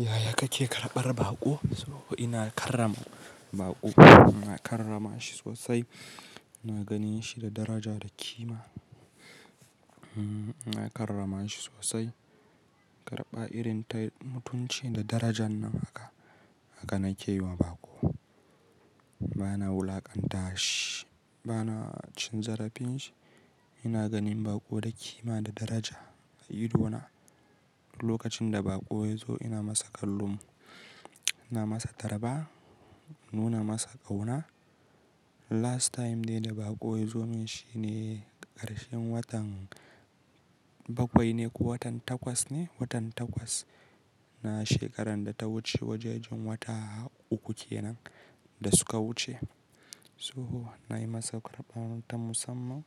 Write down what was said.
Yaya kake karɓar baƙo? So ina karrama baƙo, ina karrama shi sosai, ina ganin shi da daraja da kima. Hmmm ina karrama shi sosai. Karɓa irin ta mutunci da darajan nan haka, haka nake yi wa baƙo. Bana wulaƙanta shi, bana cin zarafin shi. Ina ganin baƙo da kima da daraja a idona. Lokacin da baƙo ya zo ina masa kallon, na masa tarba, nuna masa ƙauna. Last time ne da baƙo ya zo, mun shi ne ƙarshen watan bakwai ne ko watan takwas ne? Watan takwas na shekarar da ta wuce, wajajen wata uku kenan da suka wuce. So nayi masa karɓa ta musamman